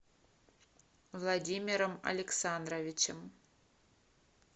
владимиром александровичем